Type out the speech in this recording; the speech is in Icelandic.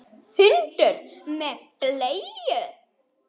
Hundur með bleiu!